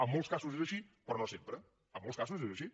en molts casos és així però no sempre en molts casos és així